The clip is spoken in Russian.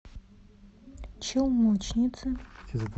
челночницы